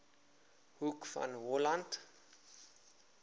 hoek van holland